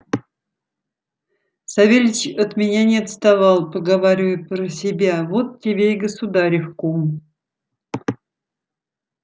савельич от меня не отставал поговаривая про себя вот тебе и государев кум